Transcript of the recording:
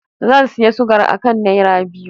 Zan sayi sugar akan naira biyu.